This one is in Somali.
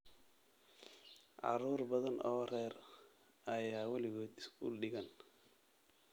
Carruur badan oo rer ayaan weligood iskuul dhigan.